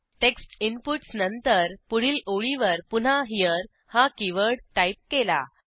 text inputs नंतर पुढील ओळीवर पुन्हा हेरे हा कीवर्ड टाईप केला